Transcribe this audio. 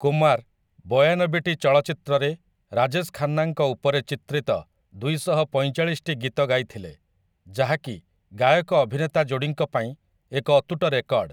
କୁମାର, ବୟାନବେଟି ଚଳଚ୍ଚିତ୍ରରେ ରାଜେଶ ଖାନ୍ନାଙ୍କ ଉପରେ ଚିତ୍ରିତ ଦୁଇଶହ ପଇଁଚାଳିଶଟି ଗୀତ ଗାଇଥିଲେ, ଯାହାକି ଗାୟକ ଅଭିନେତା ଯୋଡ଼ିଙ୍କ ପାଇଁ ଏକ ଅତୁଟ ରେକର୍ଡ଼ ।